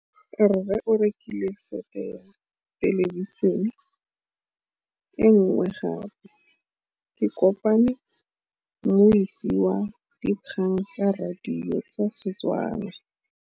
Rre o rekile sete ya thêlêbišênê e nngwe gape. Ke kopane mmuisi w dikgang tsa radio tsa Setswana.